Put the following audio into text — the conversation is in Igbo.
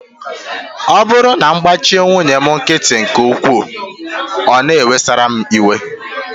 Ọ bụrụ na m gbachi nwunye m nkịtị nke ukwuu, ọ na-ewesara m iwe